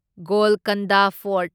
Golconda fort